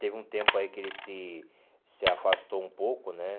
Teve um tempo aí que eles se se afastou um pouco, né?